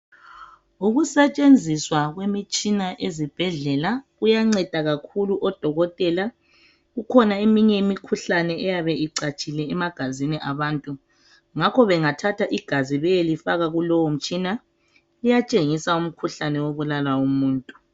Ukusetshenziswa kwemitshina ezibhedlela kuyanceda kakhulu odokotela kukhona eminye imikhuhlane eyabe icatshile emagazini abantu ngakho bengathatha igazi beyelifaka kulowo mtshina liyatshengisa umkhuhlane obulala umuntu.